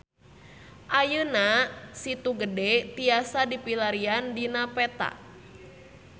Ayeuna Situ Gede tiasa dipilarian dina peta